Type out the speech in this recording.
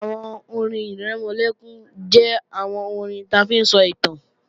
Àwọn orin-ìrẹmọlẹ́kún jẹ́ àwọn orin ta fi ń sọ ìtàn